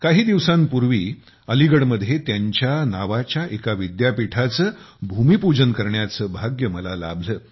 काही दिवसांपूर्वी अलीगडमध्ये त्यांच्या नावाच्या एका विद्यापीठाचे भूमिपूजन करण्याचे भाग्य मला लाभले